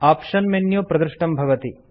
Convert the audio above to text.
option menu प्रदृष्टं भवति